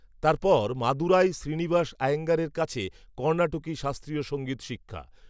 তার পর মাদুরাই, শ্রীনিবাস, আয়েঙ্গারের কাছে, কর্ণাটকি শাস্ত্রীয় সঙ্গীত শিক্ষা।